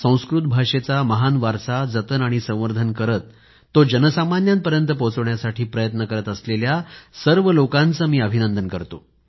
संस्कृत भाषेचा महान वारसा जतन आणि संवर्धन करीत तो जनसामान्यांपर्यंत पोहोचवण्यासाठी प्रयत्न करत असलेल्या सर्व लोकांचे मी अभिनंदन करतो